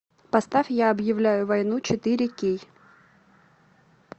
поставь я объявляю войну четыре кей